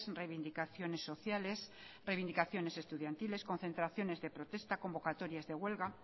reivindicaciones sociales reivindicaciones estudiantiles concentraciones de protesta convocatorias de huelga